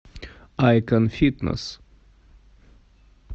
айкон фитнес